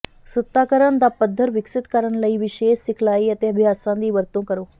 ਸੁੱਤਾਕਰਨ ਦਾ ਪੱਧਰ ਵਿਕਸਿਤ ਕਰਨ ਲਈ ਵਿਸ਼ੇਸ਼ ਸਿਖਲਾਈ ਅਤੇ ਅਭਿਆਸਾਂ ਦੀ ਵਰਤੋਂ ਕਰੋ